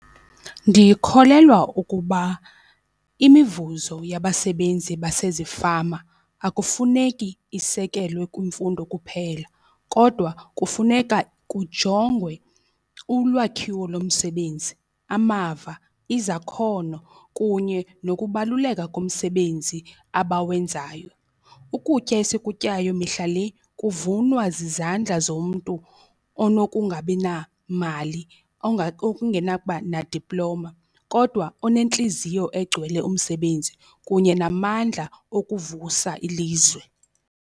Ndikholelwa ukuba imivuzo yabasebenzi basezifama akufuneki isekelwe kwimfundo kuphela kodwa kufuneka kujongwe ulwakhiwo lomsebenzi, amava, izakhono kunye nokubaluleka kumsebenzi abawenzayo. Ukutya esikutyayo mihla le kuvunwa zizandla zomntu onokungabi namali okungenakuba nadiploma kodwa onentliziyo egcwele umsebenzi kunye namandla ukuvusa ilizwe.